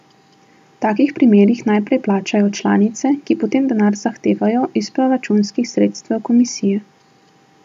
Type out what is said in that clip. V takih primerih najprej plačajo članice, ki potem denar zahtevajo iz proračunskih sredstev komisije.